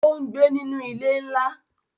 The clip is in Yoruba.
Ó ń gbé nínu ilé ńlá